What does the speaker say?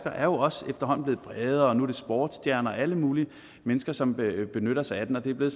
er jo også efterhånden blevet bredere og nu er det sportsstjerner og alle mulige mennesker som benytter sig af den det er blevet